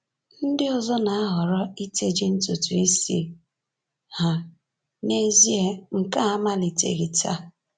Ndị ọzọ na-ahọrọ iteji ntutu isi ha; n’ezie nke a amaliteghị taa.